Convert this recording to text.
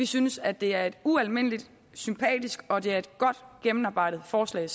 synes at det er et ualmindelig sympatisk og godt gennemarbejdet forslag